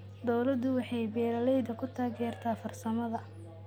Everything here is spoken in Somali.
Dawladdu waxay beeralayda ku taageertaa farsamada.